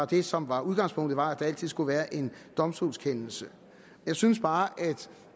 det som var udgangspunktet var at der altid skulle være en domstolskendelse jeg synes bare at